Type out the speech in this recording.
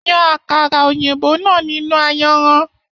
Yàn àkàrà òyìnbó náà nínú ayanran.